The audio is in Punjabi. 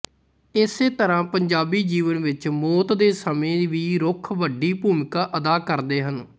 ਇਸੇ ਤਰ੍ਹਾਂ ਪੰਜਾਬੀ ਜੀਵਨ ਵਿੱਚ ਮੌਤ ਦੇ ਸਮੇਂ ਵੀ ਰੁੱਖ ਵੱਡੀ ਭੂਮਿਕਾ ਅਦਾ ਕਰਦੇ ਹਨ